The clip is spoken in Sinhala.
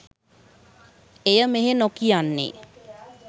එය මෙහි නොකියන්නේ